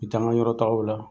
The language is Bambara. N be taa ŋa yɔrɔtagaw la.